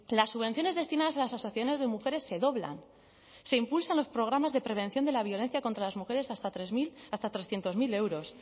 las subvenciones destinadas a las asociaciones de mujeres se doblan se impulsan los programas de prevención de la violencia contra las mujeres hasta trescientos mil euros